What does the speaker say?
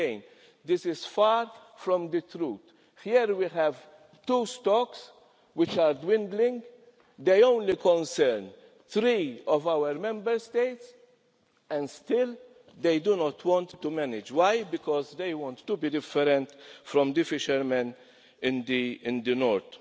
countries. Again, this is far from the truth. Here we have two stocks which are dwindling. They only concern three of our Member States and still they do not want to manage. Why? Because they want to be different from the fishermen